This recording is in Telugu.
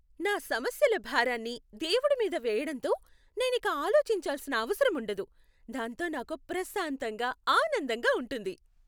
నా సమస్యల భారాన్ని దేవుడి మీద వేయడంతో నేనిక ఆలోచించాల్సిన అవసరం ఉండదు, దాంతో నాకు ప్రశాంతంగా ఆనందంగా ఉంటుంది.